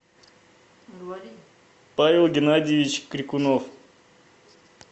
павел геннадьевич крикунов